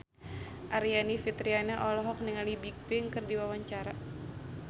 Aryani Fitriana olohok ningali Bigbang keur diwawancara